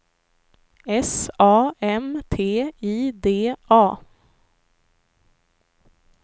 S A M T I D A